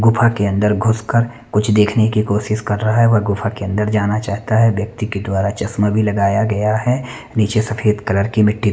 गुफा के अन्दर घुस कर कुछ देखने की कोशिश कर रहा है व गुफा के अन्दर जाना चाहता है व्यक्ति के द्वारा चश्मा भी लगाया गया है निचे सफ़ेद कलर की मिट्टी--